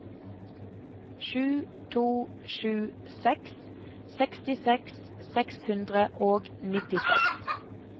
sju to sju seks sekstiseks seks hundre og nittiseks